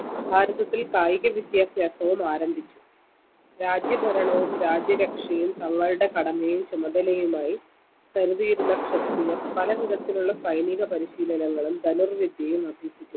ഭാരതത്തിൽ കായിക വിദ്യാഭ്യാസവും ആരംഭിച്ചു രാജ്യ ഭരണവും രാജ്യ രക്ഷയും തങ്ങളുടെ കടമയും ചുമതലയുമായി കരുതിയിരുന്ന ക്ഷത്രിയർ പലവിധത്തിലുള്ള സൈനീക പരിശീലനങ്ങളും ധന്വർ വിദ്യയും അഭ്യസിച്ചു